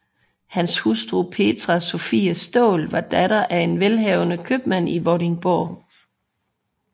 Hans hustru Petrea Sophie Staal var datter af en velhavende købmand i Vordingborg